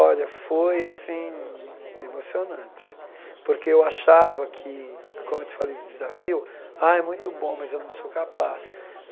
Olha, foi assim emocionante, porque eu achava que, como eu te falei do desafio, ah, é muito bom, mas eu não sou capaz.